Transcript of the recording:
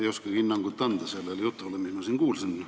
Ei oskagi anda hinnangut sellele jutule, mis ma siin kuulsin.